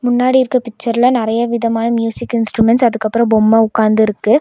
முன்னாடி இருக்க பிச்சர்ல நெறைய விதமான மியூசிக் இன்ஸ்ட்ருமெண்ட்ஸ் அதுக்கப்றோ பொம்ம உக்காந்துருக்கு.